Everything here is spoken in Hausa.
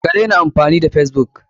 Ka daina amfani da facebook!